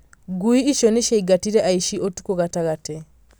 Ngui icio nĩ ciaingatire aici ũtukũ gatagatĩ